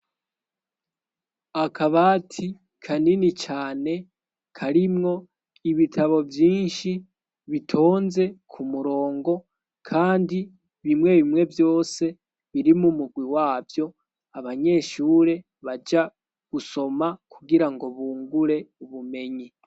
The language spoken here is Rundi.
Akabati kanini cane karimwo ibitabo vyinshi bitonze ku murongo kandi bimwe bimwe vyose biri mu mugwi wavyo, abanyeshure baja gusoma kugirango bungure ubumenyi.